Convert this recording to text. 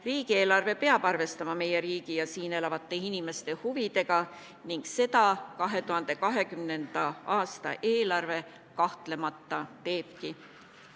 Riigieelarve peab arvestama meie riigi ja siin elavate inimeste huvidega ning seda 2020. aasta eelarve kahtlemata teebki.